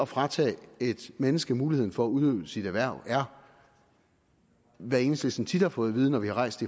fratage et menneske muligheden for at udøve sit erhverv er hvad enhedslisten tit har fået at vide når vi har rejst